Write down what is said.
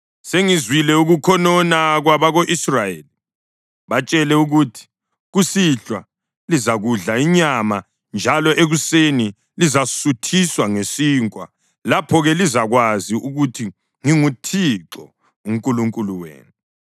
“Sengizwile ukukhonona kwabako-Israyeli. Batshele ukuthi, ‘Kusihlwa lizakudla inyama njalo ekuseni lizasuthiswa ngesinkwa. Lapho-ke lizakwazi ukuthi nginguThixo uNkulunkulu wenu.’ ”